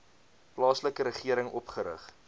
plaaslike regering opgerig